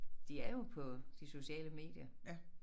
De er jo på de sociale medier